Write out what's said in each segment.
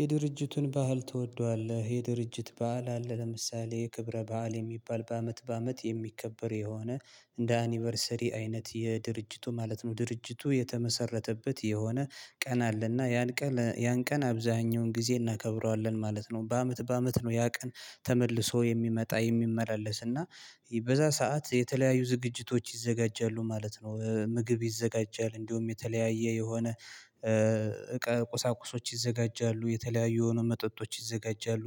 የድርጅቱን ባህል ትወደዋለህ የድርጅት በዓል አለ። ለምሳሌ ክብረ በዓል የሚባል በአመት በአመት የሚከበር የሆነ እንደ አኒቨርሰሪ አይነት የድርጅቱ ማለት ነው። ድርጅቱ የተመሰረተበት የሆነ ቀን አለና ያን ቀን ያን ቀን አብዛኛውን ጊዜ እናከብረዋለን ማለት ነው። በአመት በአመት ነው ያ ቀን ተመልሶ የሚመጣ የሚመላለስ እና በዛ ሰዓት የተለያዩ ዝግጅቶች ይዘጋጃሉ ማለት ነው። ምግብ ይዘጋጃል እንደውም የተለያየ የሆነ ቁሳቁሶች ይዘጋጃሉ የተለያዩ የሆኑ መጠጦች ይዘጋጃሉ።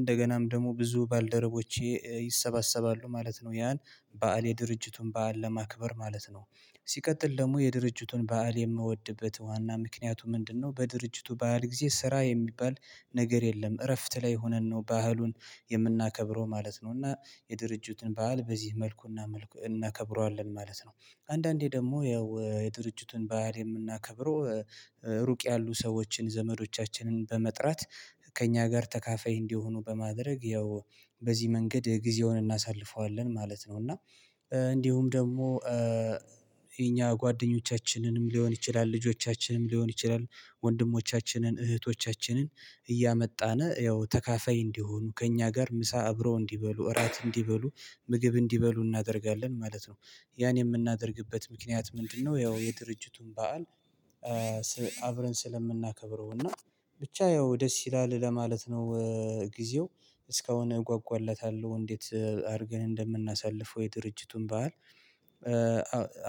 እንደገናም ደግሞ ብዙ ባልደረቦቼ ይሰባሰባሉ ማለት ነው። ያን በዓል የድርጅቱን በዓል ለማክበር ማለት ነው። ሲቀጥል ደግሞ የድርጅቱን በዓል የምወድበት ዋና ምክንያቱ ምንድነው? በድርጅቱ ባህል ጊዜ ስራ የሚባል ነገር የለም እረፍት ላይ ሆነን ነው ባህሉን የምናከብረው ማለት ነው። እና የድርጅቱን ባህል በዚህ መልኩና መልኩ እናከብረዋለን ማለት ነው። አንዳንዴ ደግሞ ያው የድርጅቱን ባህል የምናከብረው ሩቅ ያሉ ሰዎችን ዘመዶቻችንን በመጥራት። ከእኛ ጋር ተካፋይ እንዲሆኑ በማድረግ ያው በዚህ መንገድ ጊዜውን እናሳልፈዋለን ማለት ነው። እና እንዲሁም ደግሞ የኛ ጓደኞቻችንንም ሊሆን ይችላል ልጆቻችንም ሊሆን ይችላል ወንድሞቻችንን እህቶቻችንን እያመጣነ ያው ተካፋይ እንዲሆኑ ከእኛ ጋር ምሳ አብረው እንዲበሉ እራት እንዲበሉ ምግብ እንዲበሉ እናደርጋለን ማለት ነው። ያን የምናደርግበት ምክንያት ምንድነው? ያው የድርጅቱን በዓል አብረን ስለምናከብረው እና ብቻ ያው ደስ ይላል ለማለት ነው። ጊዜው እስካሁን እጓጓላታለሁ እንዴት? አድርገን እንደምናሳልፈው የድርጅቱን በዓል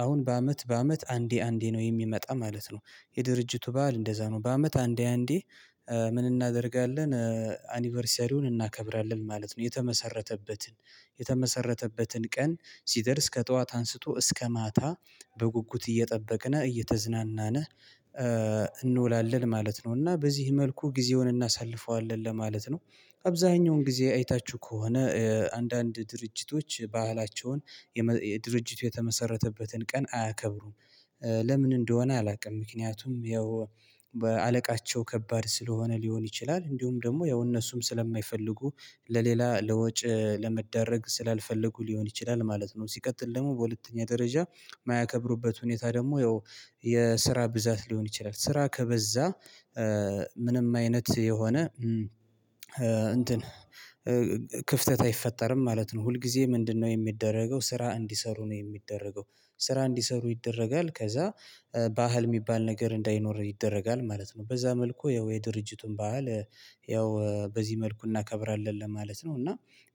አሁን በአመት በአመት አንዴ አንዴ ነው የሚመጣ ማለት ነው። የድርጅቱ በዓል እንደዛ ነው በአመት አንዴ አንዴ ምን እናደርጋለን? አኒቨርሰሪውን እናከብራለን ማለት ነው። የተመሰረተበትን የተመሰረተበትን ቀን ሲደርስ ከጠዋት አንስቶ እስከ ማታ በጉጉት እየጠበቅነ እየተዝናናነ እንውላለን ማለት ነው። እና በዚህ መልኩ ጊዜውን እናሳልፈዋለን ለማለት ነው። አብዛኛውን ጊዜ አይታችሁ ከሆነ አንዳንድ ድርጅቶች ባህላቸውን የድርጅቱ የተመሰረተበትን ቀን አያከብሩም። ለምን እንደሆነ አላውቅም። ምክንያቱም ያው አለቃቸው ከባድ ስለሆነ ሊሆን ይችላል እንዲሁም ደግሞ ያው እነሱም ስለማይፈልጉ ለሌላ ለወጭ ለመዳረግ ስላልፈለጉ ሊሆን ይችላል ማለት ነው። ሲቀጥል ደግሞ በሁለተኛ ደረጃ የማያከብሩበት ሁኔታ ደግሞ ያው የስራ ብዛት ሊሆን ይችላል ስራ ከበዛ ምንም አይነት የሆነ እንትን ክፍተት አይፈጠርም ማለት ነው። ሁልጊዜ ምንድነው? የሚደረገው ስራ እንዲሰሩ ነው የሚደረገው? ስራ እንዲሰሩ ይደረጋል ከዛ ባህል የሚባል ነገር እንዳይኖር ይደረጋል ማለት ነው። በዛ መልኩ ያው የድርጅቱን ባህል ያው በዚህ መልኩ እናከብራለን ለማለት ነው። እና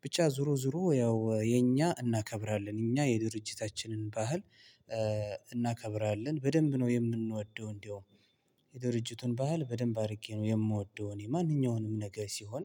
ብቻ ዙሮ ዙሮ ያው የኛ እናከብራለን እኛ የድርጅታችንን ባህል እናከብራለን በደንብ ነው። የምንወደው እንዲያውም የድርጅቱን ባህል በደንብ አድርጌ ነው የምወደውን የማንኛውንም ነገር ሲሆን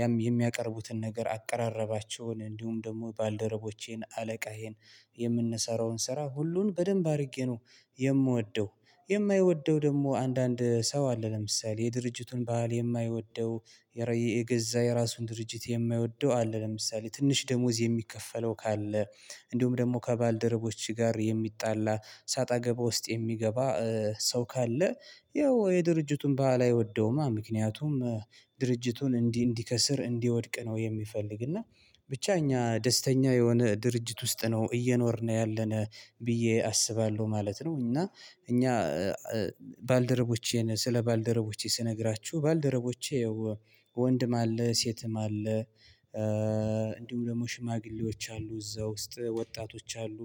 ያም የሚያቀርቡትን ነገር አቀራረባቸውን እንዲሁም ደግሞ ባልደረቦቼን አለቃዬን የምንሰራውን ስራ ሁሉን በደንብ አድርጌ ነው። የምወደው። የማይወደው ደግሞ አንዳንድ ሰው አለ። ለምሳሌ የድርጅቱን ባህል የማይወደው የራይ የገዛ የራሱን ድርጅት የማይወደው አለ። ለምሳሌ ትንሽ ደሞዝ የሚከፈለው ካለ እንዲሁም ደግሞ ከባልደረቦች ጋር የሚጣላ ሰጣ ገባ ውስጥ የሚገባ ሰው ካለ ያው የድርጅቱን ባህል አይወደውማ ምክንያቱም ድርጅቱን እንዲህ እንዲከስር እንዲወድቅ ነው። የሚፈልግ እና ብቻ እኛ ደስተኛ የሆነ ድርጅት ውስጥ ነው እየኖርን ያለነ ብዬ አስባለሁ ማለት ነው። እና እኛ ባልደረቦቼን ስለ ባልደረቦቼ ስነግራችሁ ባልደረቦቼ ወንድም አለ ሴትም አለ። እንዲሁም ደግሞ ሽማግሌዎች አሉ እዛ ውስጥ ወጣቶች አሉ።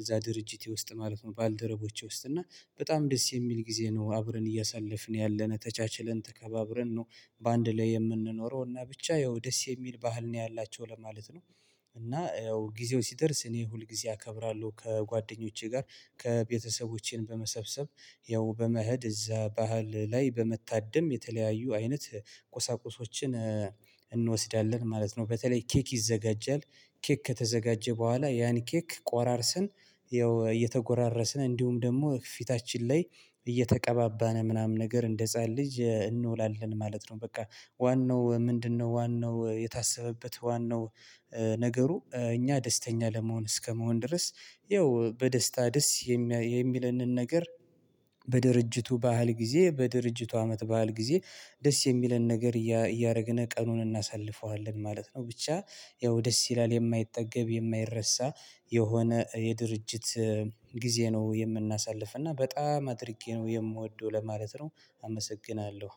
እዛ ድርጅቴ ውስጥ ማለት ነው ባልደረቦቼ ውስጥ እና በጣም ደስ የሚል ጊዜ ነው አብረን እያሳለፍን ያለነ ተቻችለን ተከባብረን ነው። በአንድ ላይ የምንኖረው እና ብቻ ያው ደስ የሚል ባህል ነው ያላቸው ለማለት ነው። እና ያው ጊዜው ሲደርስ እኔ ሁልጊዜ አከብራለሁ ከጓደኞቼ ጋር ከቤተሰቦቼን በመሰብሰብ ያው በመኸድ እዛ ባህል ላይ በመታደም የተለያዩ አይነት ቁሳቁሶችን እንወስዳለን ማለት ነው። በተለይ ኬክ ይዘጋጀል። ኬክ ከተዘጋጀ በኋላ ያን ኬክ ቆራርስን ያው እየተጎራረስነ እንዲሁም ደግሞ ፊታችን ላይ እየተቀባባነ ምናምን ነገር እንደ ህፃን ልጅ እንውላለን ማለት ነው። በቃ ዋናው ምንድነው? ዋናው የታሰበበት ዋናው ነገሩ እኛ ደስተኛ ለመሆን እስከመሆን ድረስ ይኸው በደስታ ደስ የሚለንን ነገር በድርጅቱ ባህል ጊዜ በድርጅቱ አመት ባህል ጊዜ ደስ የሚለን ነገር እያረግነ ቀኑን እናሳልፈዋለን ማለት ነው። ብቻ ያው ደስ ይላል የማይጠገብ የማይረሳ የሆነ የድርጅት ጊዜ ነው የምናሳልፍ እና በጣም አድርጌ ነው የምወደው ለማለት ነው። አመሰግናለሁ።